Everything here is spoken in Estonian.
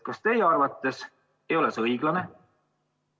Kas teie arvates ei ole see õiglane?